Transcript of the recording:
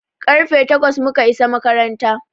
Karfe takwas mu ka isa makaranta.